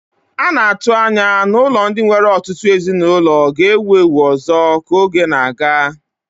A na-atụ anya na ụlọ ndị nwere ọtụtụ ezinụlọ ga-ewu ewu ọzọ ka oge na-aga.